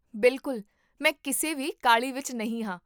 ਬਿਲਕੁਲ, ਮੈਂ ਕਿਸੇ ਵੀ ਕਾਹਲੀ ਵਿੱਚ ਨਹੀਂ ਹਾਂ